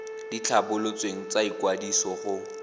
di tlhabolotsweng tsa ikwadiso go